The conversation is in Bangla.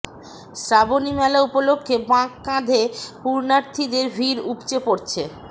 শ্রাবণী মেলা উপলক্ষে বাঁক কাঁধে পুণ্যার্থীদের ভিড় উপচে পড়ছে